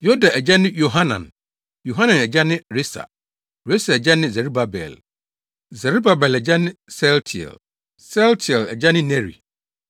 Yoda agya ne Yohanan; Yohanan agya ne Resa; Resa agya ne Serubabel; Serubabel agya ne Sealtiel; Sealtiel agya ne Neri;